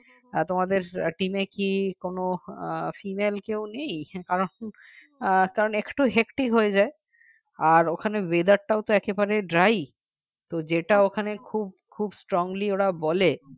তোমাদের team কি কোন female কেউ নেই কারণ কারণ একটু hecti হয়ে যায় আর ওখানে weather টাও তো একেবারে dry তো যেটা ওখানে খুব খুব strongly ওরা বলে